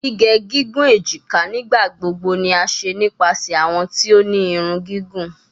Gige gigun ejika nigbagbogbo ni a ṣe nipasẹ awọn ti o ni irun gigun